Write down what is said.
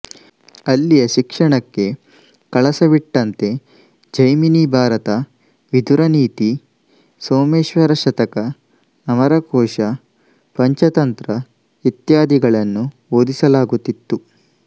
ಅಲ್ಲಿಯ ಶಿಕ್ಷಣಕ್ಕೆ ಕಳಸವಿಟ್ಟಂತೆ ಜೈಮಿನಿಭಾರತ ವಿದುರನೀತಿ ಸೋಮೇಶ್ವರ ಶತಕ ಅಮರಕೋಶ ಪಂಚತಂತ್ರ ಇತ್ಯಾದಿಗಳನ್ನು ಓದಿಸಲಾಗುತ್ತಿತ್ತು